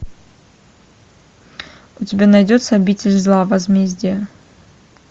у тебя найдется обитель зла возмездие